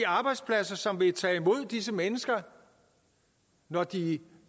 arbejdspladser som vil tage imod disse mennesker når de